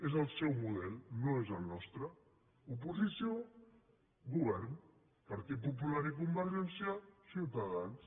és el seu model no és el nostre oposició govern partit popular i convergència ciutadans